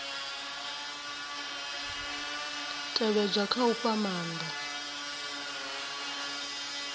tevhedzwa kha u fha maanda